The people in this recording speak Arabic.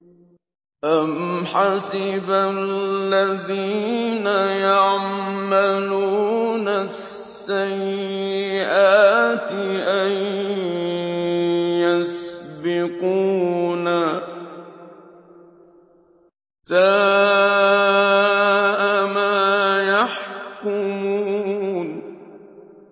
أَمْ حَسِبَ الَّذِينَ يَعْمَلُونَ السَّيِّئَاتِ أَن يَسْبِقُونَا ۚ سَاءَ مَا يَحْكُمُونَ